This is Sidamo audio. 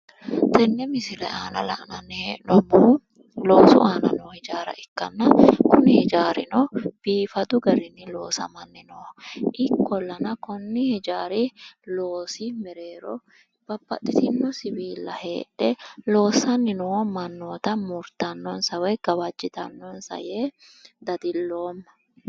tennne misile aana la'nanni hee'noommohu loosu aana noo hijaara ikkanna kuni hijaarino biifadu garinni loosamanni nooho ikkolana kayiinni konni hijaari loosi mereero babbaxitino siwiilla heedhe loossanni noo mannoota murtannonsa woyi gawajitannonsa yee dadilloomma.